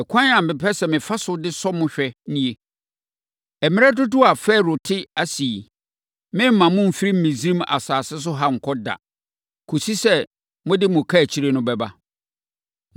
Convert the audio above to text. Ɛkwan a mepɛ sɛ mefa so de sɔ mo hwɛ nie: mmerɛ dodoɔ a Farao te ase yi, meremma mo mfiri Misraim asase so ha nkɔ da, kɔsi sɛ mode mo kaakyire no bɛba.